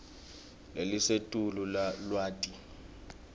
lelisetulu lwati